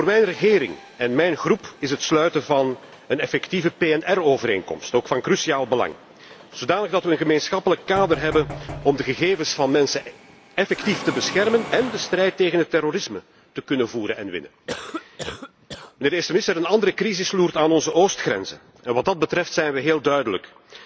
Voor mijn regering en mijn fractie is het sluiten van een effectieve PNR overeenkomst ook van cruciaal belang, zodanig dat we een gemeenschappelijk kader hebben om de gegevens van mensen effectief te beschermen en de strijd tegen het terrorisme te kunnen voeren en winnen. Mijnheer de eerste minister, een andere crisis loert aan onze oostgrenzen. Wat dat betreft zijn wij heel duidelijk.